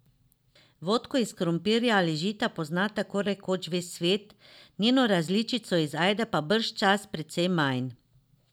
Vodko iz krompirja ali žita pozna tako rekoč ves svet, njeno različico iz ajde pa bržčas precej manj.